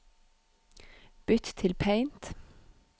Bytt til Paint